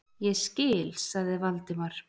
Ég skil- sagði Valdimar.